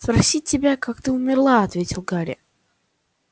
спросить тебя как ты умерла ответил гарри